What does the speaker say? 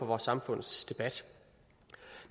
vores samfundsdebat